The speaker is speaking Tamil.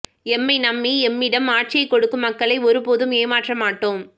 எம்மை நம்பி எம்மிடம் ஆட்சியை கொடுக்கும் மக்களை ஒருபோதும் ஏமாற்ற மாட்டோம்